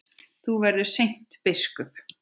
Þú verður seint biskup!